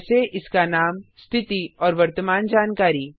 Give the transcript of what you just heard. जैसे इसका नाम स्थिति और वर्तमान जानकारी